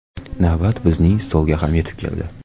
Navbat bizning stolga ham yetib keldi.